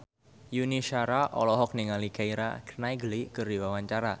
Yuni Shara olohok ningali Keira Knightley keur diwawancara